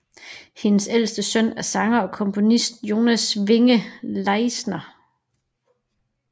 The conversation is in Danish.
Hendes ældste søn er sangeren og komponisten Jonas Winge Leisner